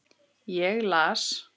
Ég las.